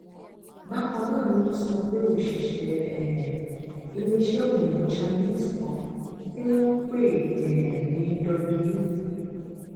bákan náà ni wọn sọ pé òṣìṣẹ um iléeṣẹ òyìnbó chinese kan tí wọn ń pè um ní w